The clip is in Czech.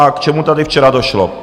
A k čemu tady včera došlo?